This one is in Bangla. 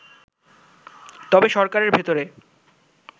তবে সরকারের ভেতরে